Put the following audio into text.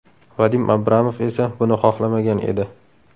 Vadim Abramov esa buni xohlamagan edi.